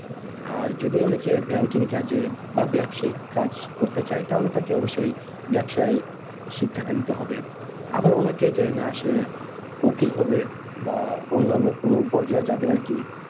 আর যদি অনেকে banking কাজে বা ব্যবসাইক কাজ করতে চায় তাহলে তাকে অবশ্যই ব্যবসায় শিক্ষাটা নিতে হবে আবার অনেকে যে উম আসে উকিল হবে বা অন্যান্য কোনো পর্যায়ে যাবে আরকি